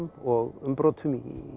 og umbrotum